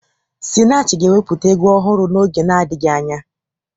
Spinach ga-ewepụta egwu ọhụrụ n'oge na-adịghị anya.